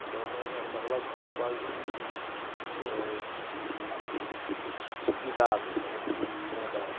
Então, era uma relação quase de, eh, de de, de, de cuidado, não de irmandade.